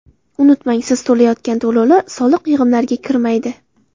Unutmang, siz to‘layotgan to‘lovlar soliq yig‘imlariga kirmaydi.